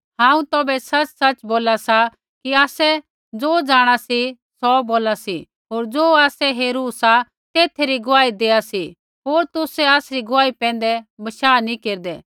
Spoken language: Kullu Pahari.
हांऊँ तुसाबै सच़सच़ बोला सा कि आसै ज़ो जाँणा सी सौ बोला सी होर ज़ो आसै हेरू सा तेथा री गुआही देआ सी होर तुसै आसरी गुआही पैंधै बशाह नैंई केरदै